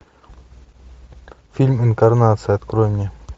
фильм инкарнация открой мне